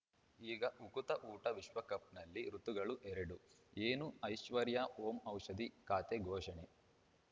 ಈಗ ಉಕುತ ಊಟ ವಿಶ್ವಕಪ್‌ನಲ್ಲಿ ಋತುಗಳು ಎರಡು ಏನು ಐಶ್ವರ್ಯಾ ಓಂ ಔಷಧಿ ಖಾತೆ ಘೋಷಣೆ